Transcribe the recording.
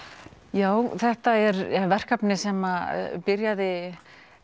já þetta er verkefni sem byrjaði